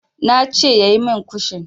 Ne ce yayi min kushin.